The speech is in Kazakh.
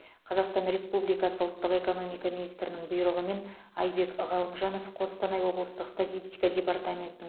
қазақстан республикасы ұлттық экономика министрінің бұйрығымен айбек ғалымжанов қостанай облыстық статистика департаментінің